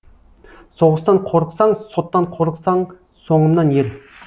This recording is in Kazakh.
соғыстан қорықсаң соттан қорықсаң соңымнан ер